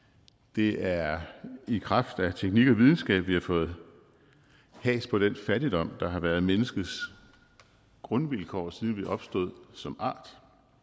det er i kraft af teknik og videnskab at vi har fået has på den fattigdom der har været menneskets grundvilkår siden vi opstod som art